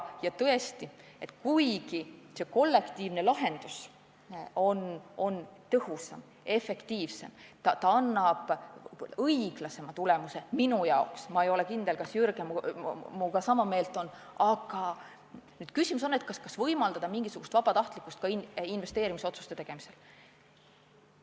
Samas, kuigi kollektiivne lahendus on tõhusam, efektiivsem ja annab minu jaoks parema tulemuse – ma ei tea, kas Jürgen on minuga sama meelt –, on ikkagi küsimus, kas tuleks võimaldada mingisugust vabatahtlikkust pensioni puudutavate investeerimisotsuste tegemisel.